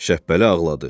Şəbbəli ağladı.